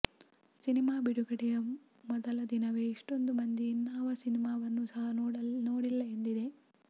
cinema ಬಿಡುಗಡೆಯ ಮೊದಲ ದಿನವೇ ಇಷ್ಟೋಂದು ಮಂದಿ ಇನ್ನಾವ ಸಿನಿಮಾವನ್ನೂ ಸಹ ನೋಡಿಲ್ಲ ಎಂದಿದೆ